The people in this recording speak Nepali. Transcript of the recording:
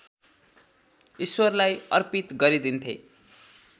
ईश्वरलाई अर्पित गरिदिन्थे